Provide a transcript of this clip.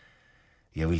ég